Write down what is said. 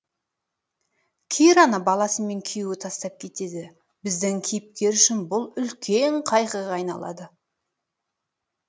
кираны баласымен күйеуі тастап кетеді біздің кейіпкер үшін бұл үлкен қайғыға айналады